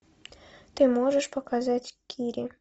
ты можешь показать кири